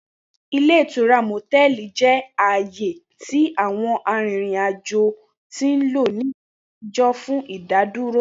Ile itura motẹlì jẹ aaye ti àwọn arìrìn ajo ti nlo ni àtijọ́ fun ìdádúró.